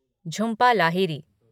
Jhumpa Lahiri